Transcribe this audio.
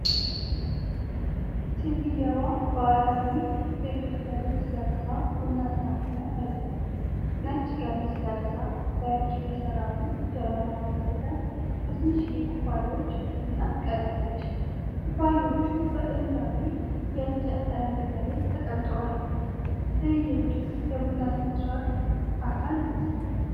ሴትየዋ ባህላዊ የኢትዮጵያ ልብስ ለብሳ ቡና ስታፈራ ያሳያል። ነጭ ቀሚስ ለብሳ በእጅ የተሠራውን ጀበና በመጠቀም በትንሽ ኩባያዎች ቡና ትቀዳለች። ኩባያዎቹ በጥንታዊ የእንጨት ጠረጴዛ ላይ ተቀምጠዋል። ትዕይንቱ የቡና ሥነ-ሥርዓት አካል ይመስላል።